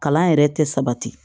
Kalan yɛrɛ tɛ sabati